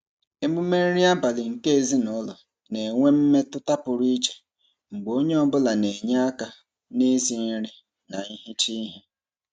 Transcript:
Emume nri abalị nke ezinụụlọ na-enwe mmetụta pụrụ iche mgbe onye ọbụla na-enye aka n'isi nri na ihicha ihe.